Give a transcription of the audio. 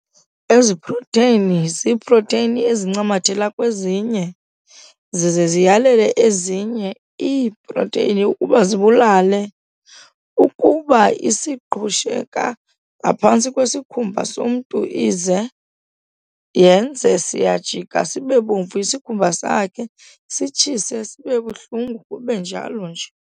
Ezi proteni ziiproteni ezincamathela kwezinye ] zize ziyalele ezinye ii] ukuba zibulale. Ukuba ] iziqhusheka ngaphantsi kwesikhumba somntu ize yenze ], siyajika sibebomvu isikhumba sakhe, sitshise, sibebuhlungu kunjalo nje.